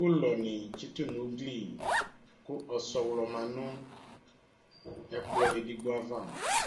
Ʋlɔnɩ tsɩtʋ nʋ ugli kʋ ɔsɔɣlɔ ma nʋ ɛkplɔ edigbo ava